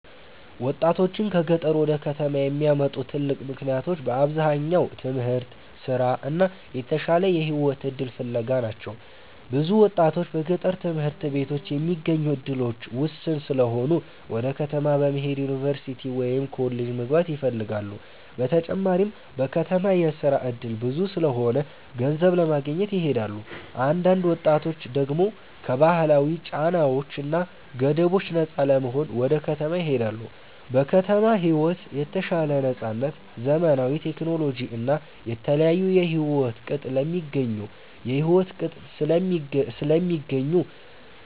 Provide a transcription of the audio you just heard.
1ወጣቶችን ከገጠር ወደ ከተማ የሚያመጡ ትልቅ ምክንያቶች በአብዛኛው ትምህርት፣ ስራ እና የተሻለ የህይወት እድል ፍለጋ ናቸው። ብዙ ወጣቶች በገጠር ትምህርት ቤቶች የሚገኙ እድሎች ውስን ስለሆኑ ወደ ከተማ በመሄድ ዩኒቨርሲቲ ወይም ኮሌጅ መግባት ይፈልጋሉ። በተጨማሪም በከተማ የስራ እድል ብዙ ስለሆነ ገንዘብ ለማግኘት ይሄዳሉ። አንዳንድ ወጣቶች ደግሞ ከባህላዊ ጫናዎች እና ገደቦች ነፃ ለመሆን ወደ ከተማ ይሄዳሉ። በከተማ ሕይወት የተሻለ ነፃነት፣ ዘመናዊ ቴክኖሎጂ እና የተለያዩ የሕይወት ቅጥ ስለሚገኙ